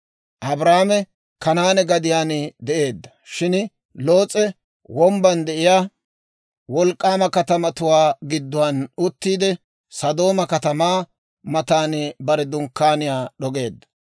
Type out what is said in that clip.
Abraame Kanaane gadiyaan de'eedda; shin Loos'e wombban de'iyaa wolk'k'aama katamatuwaa gidduwaan uttiide, Sodooma katamaa matan bare dunkkaaniyaa d'ogeedda.